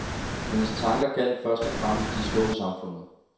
Hendes tanker gjaldt først og fremmest de små i samfundet.